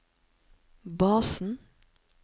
basen